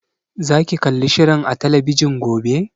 Za ki kalli shirin a talabijin gobe?